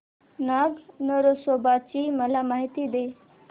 नाग नरसोबा ची मला माहिती दे